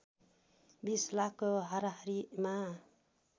२० लाखको हाराहारिमा